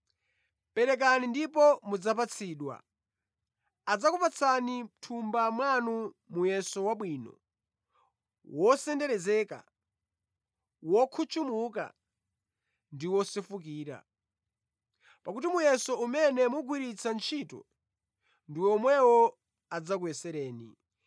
Perekani ndipo mudzapatsidwa. Adzakupatsani mʼthumba mwanu muyeso wabwino, wotsenderezeka, wokhutchumuka ndi wosefukira. Pakuti muyeso umene mumagwiritsa ntchito, ndi omwewo adzakuyeserani.”